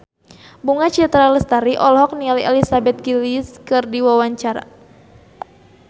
Bunga Citra Lestari olohok ningali Elizabeth Gillies keur diwawancara